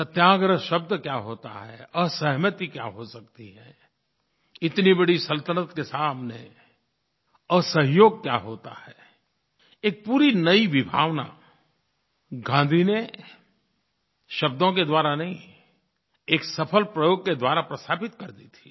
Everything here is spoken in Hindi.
सत्याग्रह शब्द क्या होता है असहमति क्या हो सकती है इतनी बड़ी सल्तनत के सामने असहयोग क्या होता है एक पूरी नई विभावना गाँधी ने शब्दों के द्वारा नहीं एक सफल प्रयोग के द्वारा प्रस्थापित कर दी थी